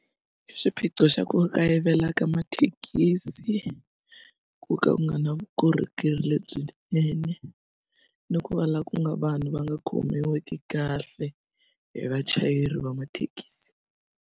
I xiphiqo xa ku kayivela ka mathekisi ku ka ku nga na vukorhokeri lebyinene ni ku va la ku nga vanhu va nga khomiwiki kahle hi vachayeri va mathekisi.